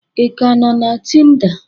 Ị ka nọ na Tinda?